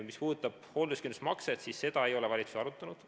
Mis puudutab hoolduskindlustusmakset, siis seda ei ole valitsus arutanud.